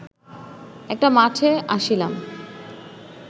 একটা মাঠে আসিলাম